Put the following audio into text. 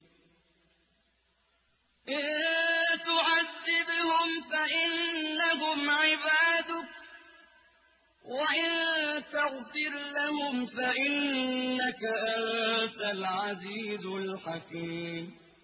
إِن تُعَذِّبْهُمْ فَإِنَّهُمْ عِبَادُكَ ۖ وَإِن تَغْفِرْ لَهُمْ فَإِنَّكَ أَنتَ الْعَزِيزُ الْحَكِيمُ